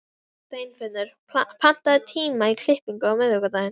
Steinfinnur, pantaðu tíma í klippingu á miðvikudaginn.